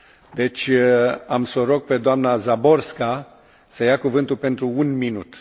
Deci am să o rog pe doamna Záborská să ia cuvântul pentru un minut.